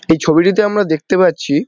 এই ছবিটিতে আমরা দেখতে পাচ্ছি--